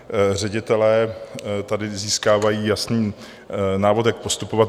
Ředitelé tady získávají jasný návod, jak postupovat.